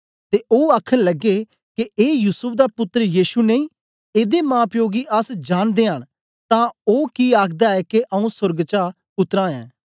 ते ओ आखन लग्गे के ए युसूफ दा पुत्तर यीशु नेई एदे मांप्यो गी अस जांनदयां न तां ओ कि आखदा ऐ के आऊँ सोर्ग चा उतरा ऐं